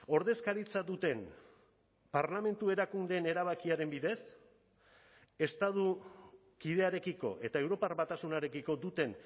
ordezkaritza duten parlamentu erakundeen erabakiaren bidez estatu kidearekiko eta europar batasunarekiko duten